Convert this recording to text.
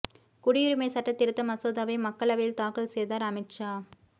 குடியுரிமை சட்டத் திருத்த மசோதாவை மக்களவையில் தாக்கல் செய்தார் அமித் ஷா